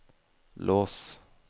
lås